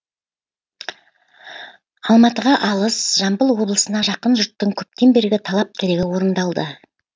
алматыға алыс жамбыл облысына жақын жұрттың көптен бергі талап тілегі орындалды